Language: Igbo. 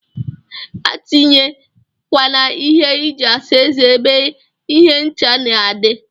Atinye kwana ihe iji asa eze ebe ihe ncha na adi.